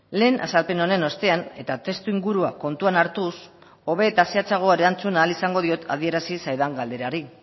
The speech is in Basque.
lehen azalpen honen ostean eta testuingurua kontuan hartuz hobe eta zehatzago erantzun ahal izango diot adierazi zaidan galderari